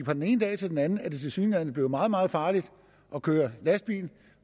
fra den ene dag til den anden tilsyneladende blevet meget meget farligt at køre lastbil